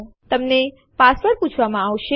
તમને પાસવર્ડ માટે પૂછવામાં આવશે